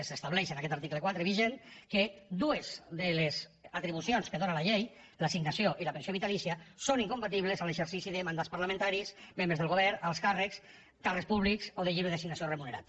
s’estableix en aquest article quatre vigent que dues de les atribucions que dóna la llei l’assignació i la pensió vitalícia són incompatibles amb l’exercici de mandats parlamentaris membres del govern alts càrrecs càrrecs públics o de lliure designació remunerat